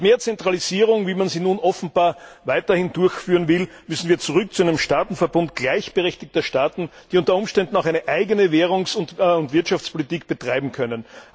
Statt hin zu mehr Zentralisierung, wie man sie nun offenbar weiterhin durchführen will, müssen wir zurück zu einem Staatenverbund gleichberechtigter Staaten, die unter Umständen auch eine eigene Währungs und Wirtschaftspolitik betreiben können.